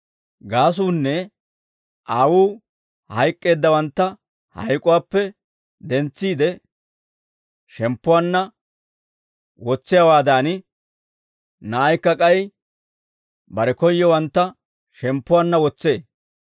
Gaasuunnee, Aawuu hayk'k'eeddawantta hayk'uwaappe dentsiide shemppuwaanna wotsiyaawaadan, Na'aykka k'ay bare koyyowantta shemppuwaanna wotsee.